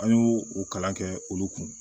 An y'o o kalan kɛ olu kun